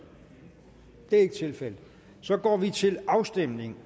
det er ikke tilfældet og så går vi til afstemning